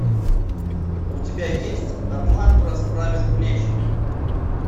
у тебя есть атлант расправил плечи